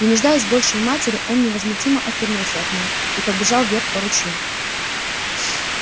не нуждаясь больше в матери он невозмутимо отвернулся от неё и побежал вверх по ручью